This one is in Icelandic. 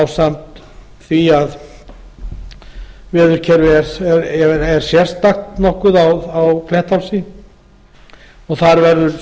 ásamt því að veðurkerfið er sérstakt nokkuð á klettsháls og þar verður